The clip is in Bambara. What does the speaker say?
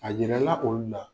A yira la olu la